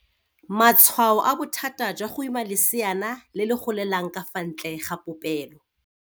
Matswhao a bothata jwa go ima leseana le le golelang ka fa ntle ga popelo.